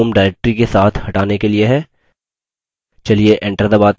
चलिए enter दबाते हैं और देखते हैं क्या होता है